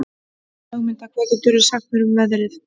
Ögmunda, hvað geturðu sagt mér um veðrið?